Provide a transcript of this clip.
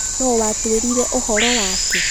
Nũũ waatwĩrire ũhoro wake?